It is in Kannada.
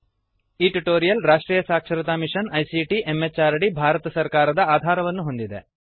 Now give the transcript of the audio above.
ಈ ಟ್ಯುಟೋರಿಯಲ್ ರಾಷ್ಟ್ರೀಯ ಸಾಕ್ಷರತಾ ಮಿಶನ್ ಐಸಿಟಿ ಎಂಎಚಆರ್ಡಿ ಭಾರತ ಸರ್ಕಾರದ ಆಧಾರವನ್ನು ಹೊಂದಿದೆ